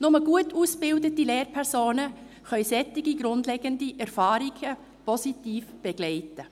Nur gut ausgebildete Lehrpersonen können solche grundlegenden Erfahrungen positiv begleiten.